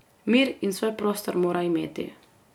Mir in svoj prostor mora imeti.